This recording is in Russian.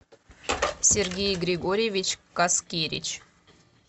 сергей григорьевич каскевич